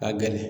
Ka gɛlɛn